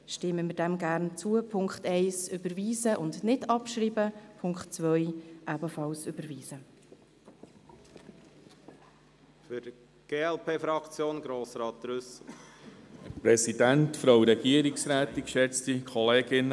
Wir empfehlen, den Punkt 1 zu überweisen, ihn nicht abzuschreiben und den Punkt 2 ebenfalls zu überweisen.